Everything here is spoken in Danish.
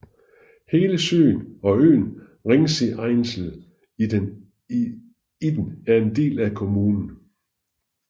Hele søen og øen Ringseeinsel i den er en del af kommunen